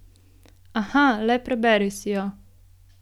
Aha, le preberi si jo.